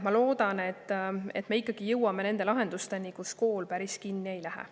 Ma loodan, et me jõuame lahendusteni, mille puhul kool päris kinni ei lähe.